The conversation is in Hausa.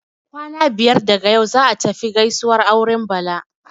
Kwana biyar daga yau, za'a tafi gaisuwar auren Bala.